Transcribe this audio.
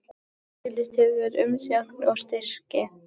Auglýst eftir umsóknum um styrki